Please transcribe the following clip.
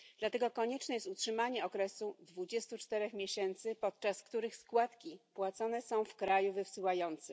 Dlatego konieczne jest utrzymanie okresu dwudziestu czterech miesięcy podczas których składki płacone są w kraju wysyłającym.